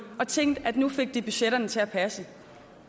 og tænkt at nu fik de budgetterne til at passe